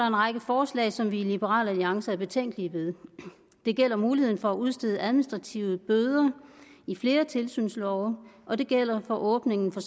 en række forslag som vi i liberal alliance er betænkelige ved det gælder muligheden for at udstede administrative bøder i flere tilsynslove og det gælder for åbningen for